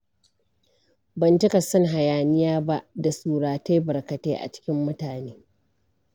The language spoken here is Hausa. Ban cika son hayaniya ba da surutai barkatai a cikin mutane.